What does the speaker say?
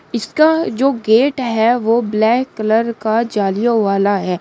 इसका जो गेट है वो ब्लैक कलर का जालियों वाला है।